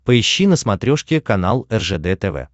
поищи на смотрешке канал ржд тв